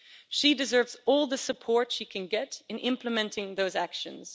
She deserves all the support she can get in implementing those actions.